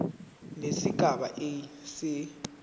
nesigaba a se